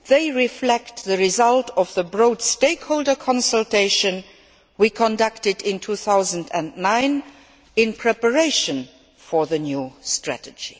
They reflect the result of the broad stakeholder consultation we conducted in 2009 in preparation for the new strategy.